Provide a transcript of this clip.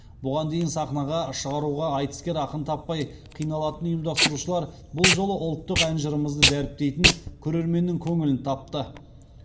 бұған дейін сахнаға шығаруға айтыскер ақын таппай қиналатын ұйымдастырушылар бұл жолы ұлттық ән жырымызды дәріптейтін көрерменнің көңілін тапты